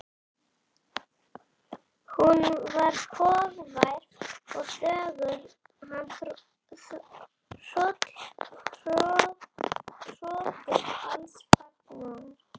Hún var hógvær og þögul, hann hrókur alls fagnaðar.